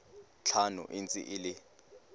tlhano e ntse e le